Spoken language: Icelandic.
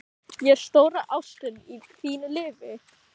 Er ég stóra ástin í þínu lífi?